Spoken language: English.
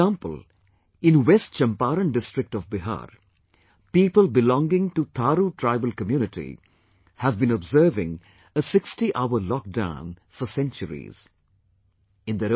For example, in West Champaran district of Bihar, people belonging to Thaaru tribal community have been observing a sixtyhour lockdown for centuries...